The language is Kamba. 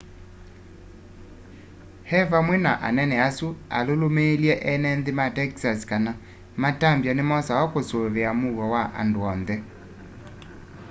e vamwe na anene asu alũmĩlĩilye enenthĩ ma texas kana matambya nĩmosawa kũsũĩvĩa mũuo wa andũ onthe